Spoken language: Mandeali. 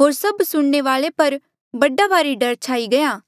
होर सभ सुणने वाले पर बड़ा भारी डर छाई गया